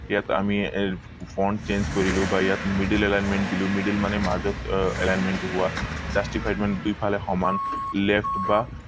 ইয়াত আমি আহ front change কৰিলো বা ইয়াত middle alignment দিলো middle মানে মাজত আহ alignment টো হোৱা justified মানে দুই ফালে সমান left বা